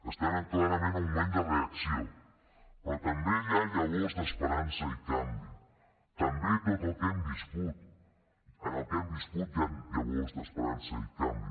estem clarament en un moment de reacció però també hi ha llavors d’esperança i canvi també en tot el que hem viscut hi han llavors d’esperança i canvi